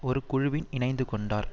ஒரு குழுவில் இணைந்து கொண்டார்